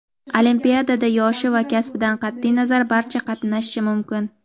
Olimpiadada yoshi va kasbidan qat’iy nazar barcha qatnashishi mumkin.